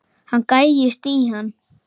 Hann gægist í hann.